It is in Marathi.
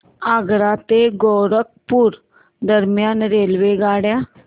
आग्रा ते गोरखपुर दरम्यान रेल्वेगाड्या